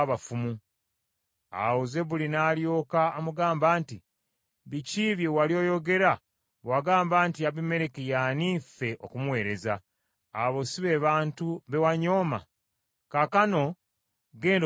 Awo Zebbuli n’alyoka amugamba nti, “Biki bye wali oyogera bwe wagamba nti, ‘Abimereki ye ani ffe okumuweereza?’ Abo si be bantu be wanyooma? Kaakano genda obalwanyise.”